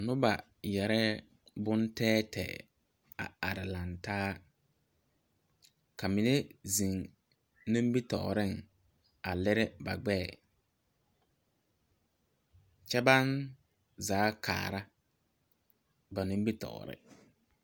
Nuba yɛree bunteɛteɛ a arẽ langtaa ka mene zeng nimitoɔring a liri ba gbɛɛ kye bang zaa kaara ba nimbitoɔre.